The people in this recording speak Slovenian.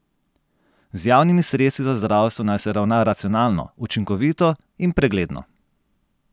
Z javnimi sredstvi za zdravstvo naj se ravna racionalno, učinkovito in pregledno.